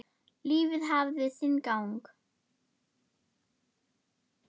Lífið hafði sinn gang.